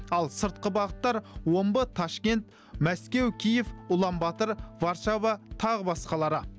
ал сыртқы бағыттар омбы ташкент мәскеу киев ұлан батыр варшава тағы басқалары